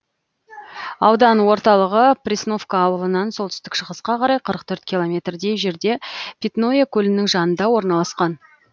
аудан орталығы пресновка ауылынан солтүстік шығысқа қарай қырық төрт километрдей жерде питное көлінің жанында орналасқан